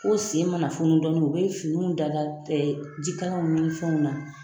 ko sen mana funu dɔɔni, u bɛ finiw da da jikalanw min fɛnw na,